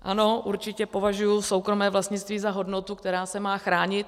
Ano, určitě považuji soukromé vlastnictví za hodnotu, která se má chránit.